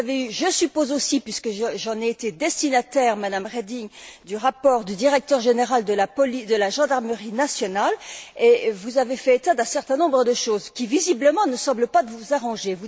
Vous avez eu, je suppose aussi, puisque j'en ai été destinataire, Madame Reding, le rapport du directeur général de la gendarmerie nationale, et vous avez fait état d'un certain nombre de choses qui, visiblement, ne semblent pas vous arranger.